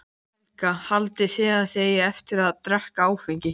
Helga: Haldið þið að þið eigið eftir að drekka áfengi?